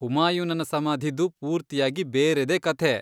ಹುಮಾಯೂನನ ಸಮಾಧಿದು ಪೂರ್ತಿಯಾಗಿ ಬೇರೆದೇ ಕಥೆ.